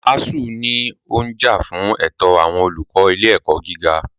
ASUU ní ó ń jà fún ẹ̀tọ́ àwọn olùkọ́ ilé ẹ̀kọ́ gíga.